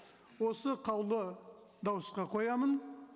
осы қаулы дауысқа қоямын